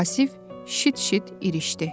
Vasif şıt-şıt irişdi.